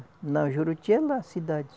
Juruti é lá a cidade.